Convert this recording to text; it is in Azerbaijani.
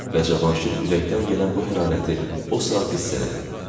Və Cavanşir ürəkdən gələn bu hərarəti o saat hiss elədi.